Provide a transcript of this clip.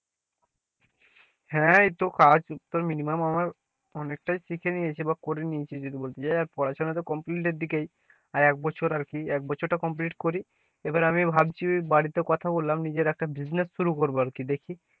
হ্যাঁ এইতো কাজ তো minimum আমার অনেকটাই শিখে নিয়েছে বা করে নিয়েছি, যদি বলতে যাই, আর পড়াশোনা তো complete এর দিকেই আর এক বছর আরকি এক বছরটা complete করি, এবার আমি ভাবছি বাড়িতে কথা বললাম নিজের একটা business শুরু করব আরকি দেখি,